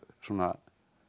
svona